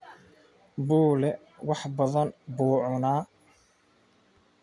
Bule wax badan buu cunaa